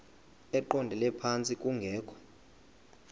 eqondele phantsi kungekho